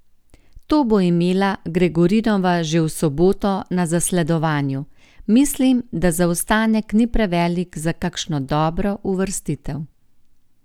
To bo imela Gregorinova že v soboto na zasledovanju: 'Mislim, da zaostanek ni prevelik za kakšno dobro uvrstitev.